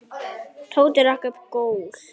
Tóti rak upp gól.